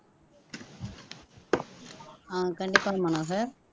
ஆஹ் கண்டிப்பா மனோகர்